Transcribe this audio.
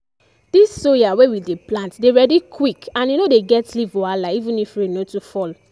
this soya wey we dey plant dey ready quick and e no dey get leaf wahala even if rain no too fall.